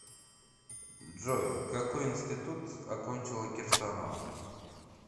джой какой интситут окончила кирсанова